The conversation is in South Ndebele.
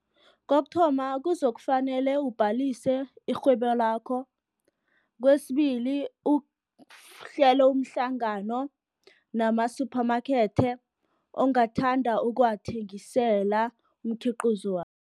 Kokuthoma kuzokufanele ubhalise irhwebo lakho. Kwesibili uhlele umhlangano namasuphamakethe, ongathanda ukuwathengisela umkhiqizo wakho.